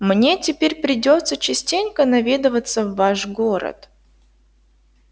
мне теперь придётся частенько наведываться в ваш город